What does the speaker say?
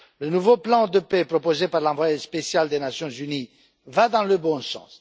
Le nouveau plan de paix proposé par l'envoyé spécial des Nations unies va dans le bon sens.